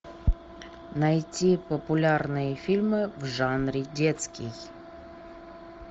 найти популярные фильмы в жанре детский